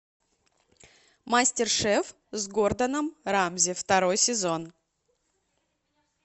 мастер шеф с гордоном рамзи второй сезон